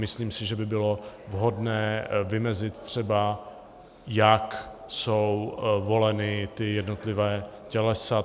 Myslím si, že by bylo vhodné vymezit třeba, jak jsou volena ta jednotlivá tělesa.